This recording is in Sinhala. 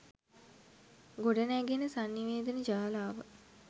ගොඩනැඟෙන සන්නිවේදන ජාලාව